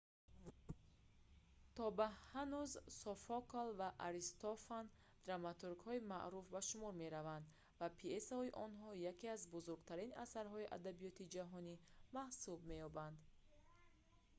то ба ҳанӯз софокл ва аристофан драматургҳои маъруф ба шумор мераванд ва пйесаҳои онҳо яке аз бузургтарин асарҳои адабиёти ҷаҳонӣ маҳсуб меёбанд